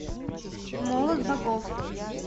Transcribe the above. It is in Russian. молот богов